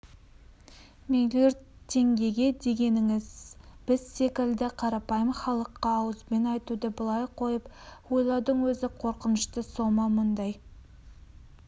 млрд теңге дегеніңіз біз секілді қарапайым халыққа ауызбен айтуды былай қойып ойлаудың өзі қорқынышты сома мұндай